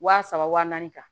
Wa saba wa naani kan